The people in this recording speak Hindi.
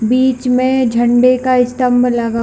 बिच में झंडे का स्तंभ लगा हुआ--